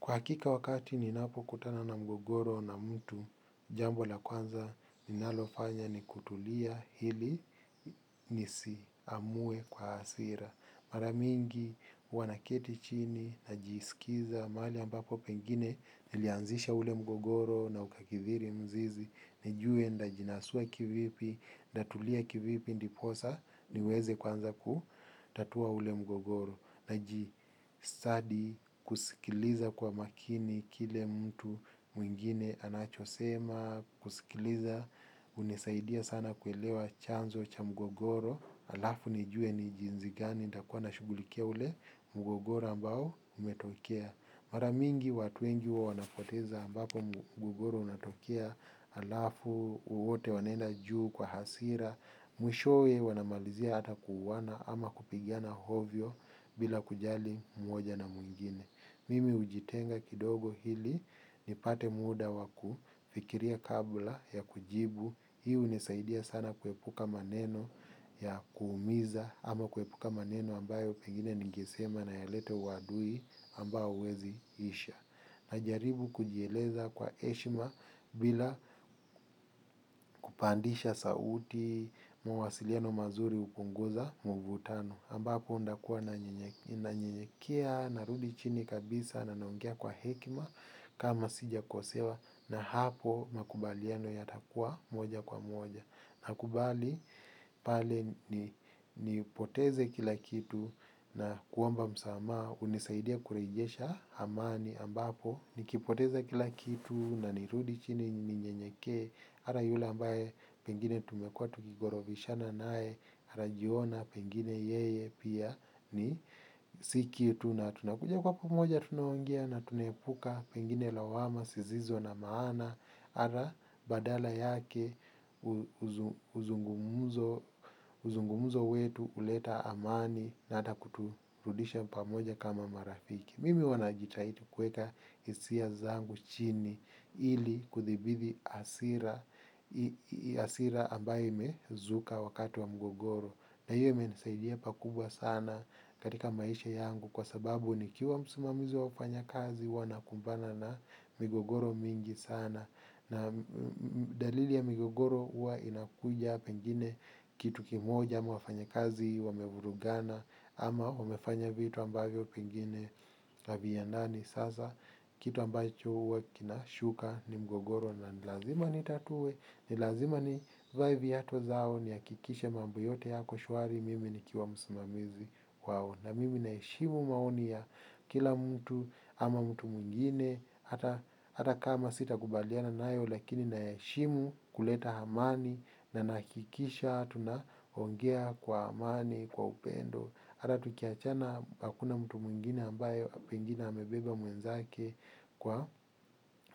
Kwa hakika wakati ninapo kutana na mgogoro na mtu, jambo la kwanza ninalofanya ni kutulia ili nisi amue kwa hasira. Mara mingi huwa naketi chini, najisikiza, mahali ambapo pengine, nilianzisha ule mgogoro na ukakithiri mzizi, nijue nitajinasua kivipi, nitatulia kivipi ndiposa, niweze kwanza kutatua ule mgogoro, naji kusikiliza kwa makini kile mtu mwingine anacho sema kusikiliza hunisaidia sana kuelewa chanzo cha mgogoro alafu nijue ni jinsi gani ambao nitashughulikia ule mgogoro ambao umetokea. Mara mingi watu wengi huwa wanapoteza ambapo mgogoro unatokea alafu wote wanaenda juu kwa hasira. Mwishowe wanamalizia hata kuuwana ama kupigiana ovyo bila kujali mmoja na mwingine. Mimi hujitenga kidogo ili nipate muda waku fikiria kabla ya kujibu. Hii hunisaidia sana kuepuka maneno ya kuumiza ama kuepuka maneno ambayo pengine ningesema na yalete uwadui ambao huwezi isha. Najaribu kujieleza kwa heshima bila kupandisha sauti mawasiliano mazuri hupunguza mvutano. Ambako nitakuwa nanyenyekea narudi chini kabisa na naongea kwa hekima kama sija kosewa na hapo makubaliano yatakuwa moja kwa moja. Na kubali pale nipoteze kila kitu na kuomba msama ha hunisaidia kurejesha amani ambapo nikipoteze kila kitu na nirudi chini ninyenyekee hata yule ambaye pengine tumekuwa tukigorovishana naye. Ata jiona pengine yeye pia ni si kitu na tunakuja kwa pamoja tunaongea na tunaepuka pengine lawama sizizo na maana hata badala yake uzungumuzo wetu uleta amani na hata kuturudisha pamoja kama marafiki. Mimi huwa najitadi kweka hisia zangu chini ili kuthibithi hasira ambaye imezuka wakati wa mgogoro. Na hiyo imenisaidia pakubwa sana katika maisha yangu kwa sababu nikiwa msimamizi wa wafanya kazi huwa nakumbana na migogoro mingi sana na dalili ya migogoro huwa inakuja pengine kitu kimoja ama wafanya kazi wamevuragana ama wamefanya vitu ambavyo pengine haviendani. Sasa kitu ambacho huwa kinashuka ni mgogoro na ni lazima nitatue. Ni lazima ni vae viatu zao nihakikishe mambo yote yako shwari mimi nikiwa msimamizi wao. Na mimi naheshimu maoni ya kila mtu ama mtu mwingine. Hata kama sitakubaliana nayo lakini naheshimu kuleta amani. Na nahakikisha tunaongea kwa amani, kwa upendo hata tukiachana, hakuna mtu mwingine ambaye pengine amebeba mwenzake kwa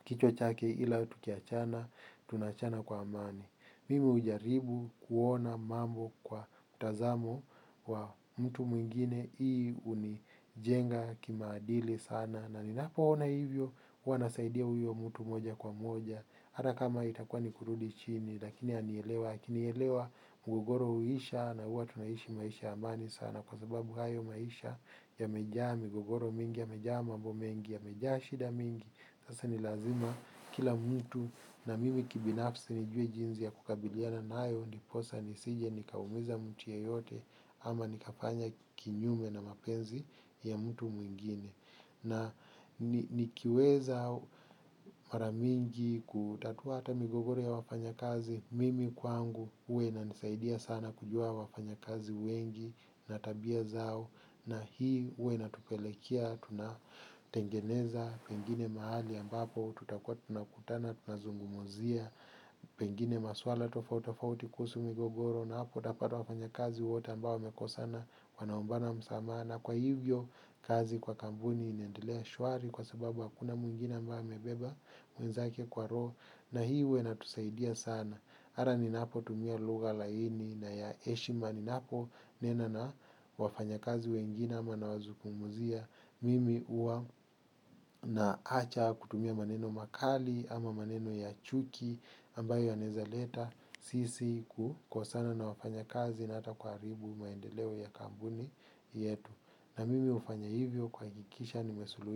kichwa chake ila tukiachana tunaachana kwa amani. Mimi hujaribu kuona mambo kwa utazamo wa mtu mwingine, hii hunijenga kimaadili sana. Na ninapo ona hivyo, huwa nasaidia huyo mtu moja kwa moja. Ata kama itakua ni kurudi chini, lakini anielewa. Akinielewa migogoro huisha na huwa tunaisha maisha ya amani kwa sababu hayo maisha yamejaa migogoro mingi yamejaa mambo mingi yamejaa shida mingi sasa ni lazima kila mtu na mimi binafsi nijue jinsi ya kukabiliana nayo. Ndiposa nisije ni kaumiza mtu yeyote ama ni kafanya kinyume na mapenzi ya mtu mwingine. Na nikiweza mara mingi kutatua hata. Migogoro ya wafanya kazi mimi kwangu huwa inanisaidia sana kujua wafanya kazi wengi na tabia zao na hii huwa ina tupelekia tunatengeneza pengine mahali ambapo tutakwa tuna kutana tunazungumzia pengine maswala tofautofauti kuhusu migogoro na hapo utapata wafanya kazi wote ambao wamekosana wanaombana msamaha na kwa hivyo, kazi kwa kampuni inendelea shwari kwa sababu hakuna mwingine ambaye amebeba mwenzake kwa roho. Na hii huwa ina tusaidia sana. Hata nipotumia lugha laini na ya heshima ninapo nena na wafanya kazi wengine ama nawazungumzia. Mimi huwa naacha kutumia maneno makali ama maneno ya chuki ambayo yanawezaleta sisi ku kosana na wafanya kazi na hata kuha ribu maendeleo ya kampuni yetu. Na mimi hufanya hivyo kuhakikisha nimesului.